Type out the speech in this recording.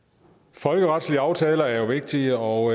folkeretlige aftaler er jo vigtige og